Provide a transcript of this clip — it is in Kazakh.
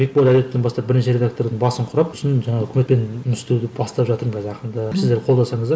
бекболат әдетовтен бастап бірінші редактордың басын құрап сосын жаңағы үкіметпен жұмыс істеуді бастап жатырмын қазір ақырындап сіздер қолдасаңыздар